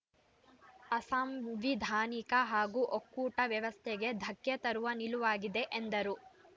ಅಸಾಂವಿಧಾನಿಕ ಹಾಗೂ ಒಕ್ಕೂಟ ವ್ಯವಸ್ಥೆಗೆ ಧಕ್ಕೆ ತರುವ ನಿಲುವಾಗಿದೆ ಎಂದರು